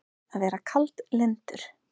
Að vera kaldlyndur